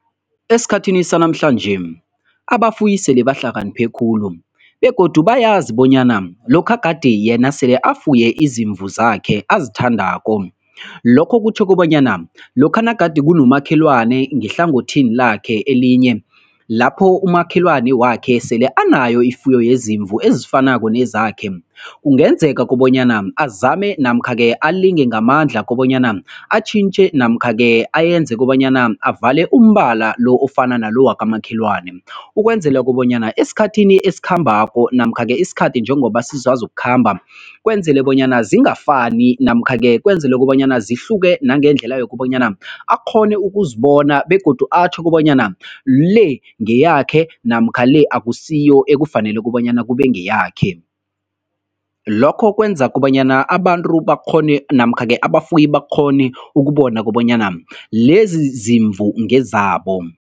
Esikhathini sanamhlanje abafuyi sele bahlakaniphe khulu begodu bayazi bonyana lokha gade yena sele afuye izimvu zakhe ezithandako, lokho kutjho kobanyana lokha nagade kunomakhelwane ngehlangothini lakhe elinye lapho umakhelwani wakhe sele anayo ifuyo yezimvu ezifanako nezakhe, kungenzeka kobanyana azame namkha-ke alinge ngamandla kobanyana atjhinjthe namkha-ke ayenze kobanyana avale umbala lo ofana nalo wokamakhelwane ukwenzela kobanyana esikhathini esikhambako namkha-ke isikhathi njengoba sisazokukhamba, kwenzelwe bonyana zingafani namkha-ke kwenzelwe kobanyana zihluke nangendlela yokobanyana akghone ukuzibona begodu atjho kobanyana le ngeyakhe namkha le akusiyo ekufanele kobanyana kube ngeyakhe. Lokho kwenza kobanyana abantu bakghone namkha-ke abafuyi bakghone ukubona kobanyana lezi zimvu ngezabo.